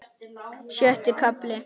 Sjötti kafli